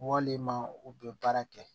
Walima u bɛ baara kɛ